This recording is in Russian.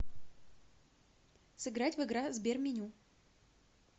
сыграть в игра сберменю